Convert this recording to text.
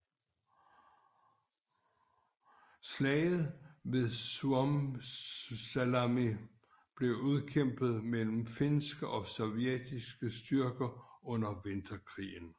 Slaget ved Suomussalmi blev udkæmpet mellem finske og sovjetiske styrker under Vinterkrigen